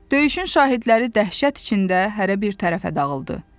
Döyüşün şahidləri dəhşət içində hərə bir tərəfə dağıldı.